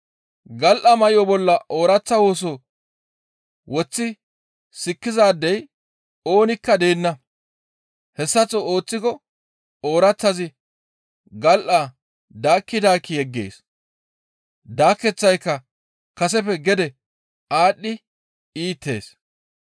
«Gal7a may7o bolla ooraththa woso woththi sikkizaadey oonikka deenna; hessaththo ooththiko ooraththazi gal7aa daakki daakki yeggees; daakeththayka kaseppe gede aadhdhi iitees.